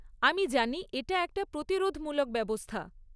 আমি জানি এটা একটা প্রতিরোধমূলক ব্যবস্থা।